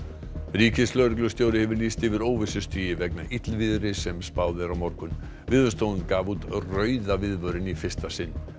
ríkislögreglustjóri hefur lýst yfir óvissustigi vegna illviðris sem spáð er á morgun Veðurstofan gaf út rauða viðvörun í fyrsta sinn